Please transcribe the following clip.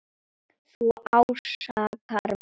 Þú ásakar mig.